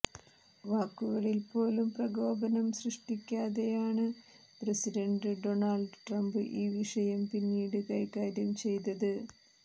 വാക്കുകളിൽപ്പോലും പ്രകോപനം സൃഷ്ടിക്കാതെയാണ് president Donald Trump ഈ വിഷയം പിന്നീട് കൈകാര്യം ചെയ്തത്